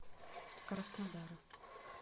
краснодара